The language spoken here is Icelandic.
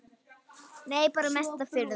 Nei bara mesta furða.